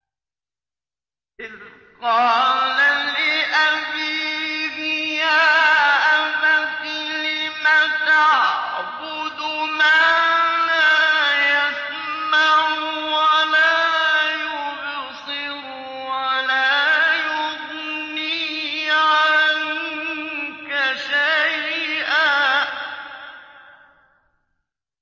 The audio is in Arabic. إِذْ قَالَ لِأَبِيهِ يَا أَبَتِ لِمَ تَعْبُدُ مَا لَا يَسْمَعُ وَلَا يُبْصِرُ وَلَا يُغْنِي عَنكَ شَيْئًا